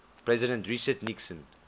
president richard nixon